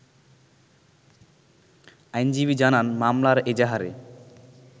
আইনজীবী জানান, মামলার এজাহারে